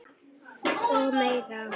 Og mér.